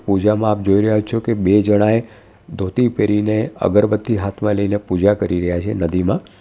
પૂજામાં આપ જોઈ રહ્યા છો કે બે જણાએ ધોતી પહેરીને અગરબત્તી હાથમાં લઈને પૂજા કરી રહ્યા છે નદીમાં.